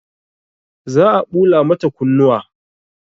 Za a ɓula mata kunnuwa